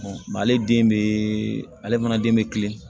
ale den be ale fana den be kilen